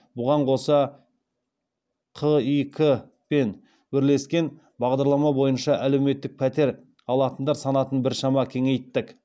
бұған қоса қик пен бірлескен бағдарлама бойынша әлеуметтік пәтер алатындар санатын біршама кеңейттік